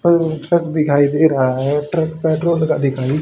छत दिखाई दे रहा है। ट्रक पेट्रोल का दिखाई--